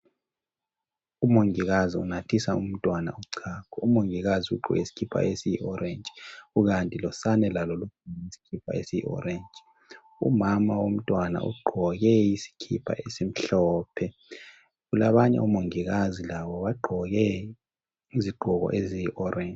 Umongikazi unathisa umntwana uchago umongikazi ugqoke isikipa esiyi orange kukanti losane lalo lugqoke isikipa esiyi orange umama womntwana ugqoke isikipa esimhlophe labanye omongikazi labo bagqoke izigqoko eziyi orange